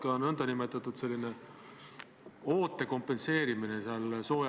Ma palun ettekandjaks riigikaitsekomisjoni aseesimehe Kalle Laaneti.